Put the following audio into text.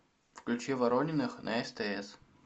включи ворониных на стс